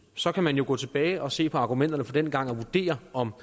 så kan man jo gå tilbage og se på argumenterne fra dengang og vurdere om